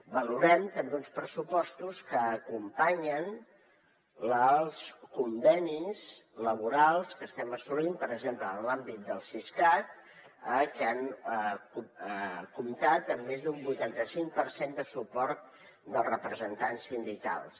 valorem també uns pressupostos que acompanyen els convenis laborals que estem assolint per exemple en l’àmbit del siscat que han comptat amb més d’un vuitanta cinc per cent de suport dels representants sindicals